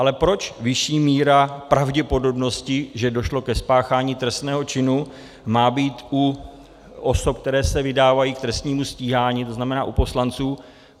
Ale proč vyšší míra pravděpodobnosti, že došlo ke spáchání trestného činu, má být u osob, které se vydávají k trestnímu stíhání, to znamená u poslanců?